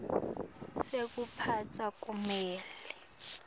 sekuphatsa kumele